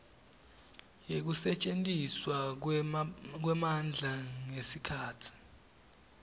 yekusetjentiswa kwemandla ngesikhatsi